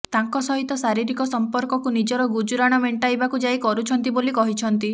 ତାଙ୍କ ସହିତ ଶାରୀରିକ ସଂପର୍କକୁ ନିଜର ଗୁଜୁରାଣ ମେଣ୍ଟାଇବାକୁ ଯାଇ କରୁଛନ୍ତି ବୋଲି କହିଛନ୍ତି